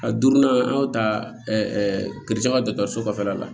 A duurunan an y'o ta kerezan dɔgɔtɔrɔso kɔfɛla la